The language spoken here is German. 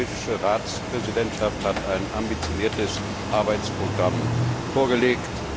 Die schwedische Ratspräsidentschaft hat ein ambitioniertes Arbeitsprogramm vorgelegt.